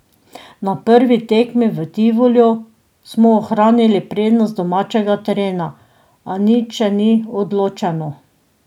Na prvi tekmi v Tivoliju smo ohranili prednost domačega terena, a nič še ni odločeno.